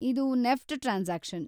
ಇದು NEFT transaction.